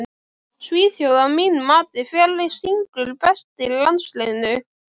Svíþjóð að mínu mati Hver syngur best í landsliðinu?